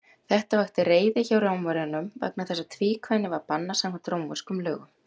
Þetta vakti reiði hjá Rómverjunum, vegna þess að tvíkvæni var bannað samkvæmt rómverskum lögum.